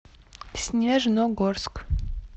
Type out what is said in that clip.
снежногорск